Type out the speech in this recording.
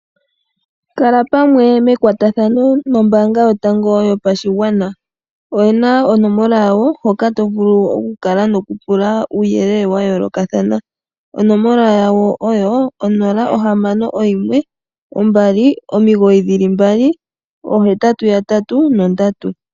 Kala pamwe mekwatathano nombaanga yotango yopashigwana. Oyena onomola yawo hoka tokala noku pula uuyelele wa yoolokathana. Onomola yawo oyo onola ohamano oyimwe, ombali omigoyi dhili mbali oohetatu yatatu nondatu.